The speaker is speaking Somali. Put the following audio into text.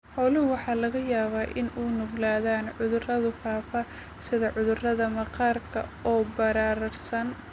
Xooluhu waxa laga yaabaa inay u nuglaadaan cudurrada faafa sida cudurrada maqaarka oo bararsan.